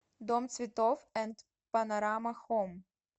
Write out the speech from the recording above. дом цветов энд панорама хоум